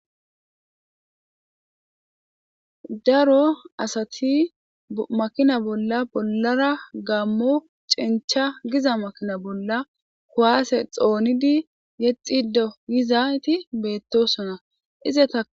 Daro asati makina bolla bollara gammo cencha giza makina bolla kuwaase xoonidi yexido gizayti beettosona izata.